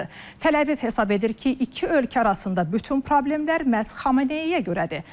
Təl-Əviv hesab edir ki, iki ölkə arasında bütün problemlər məhz Xameneiyə görədir.